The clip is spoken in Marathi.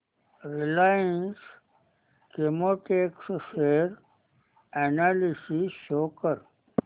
Reliance Chemotex share analysis show कर